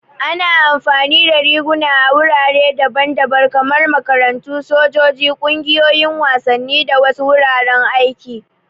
Ana amfani da riguna a wurare daban-daban kamar makarantu, sojoji, ƙungiyoyin wasanni, da wasu wuraren aiki.